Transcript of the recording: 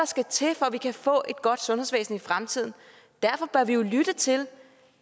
skal til for at vi kan få et godt sundhedsvæsen i fremtiden derfor bør vi jo lytte til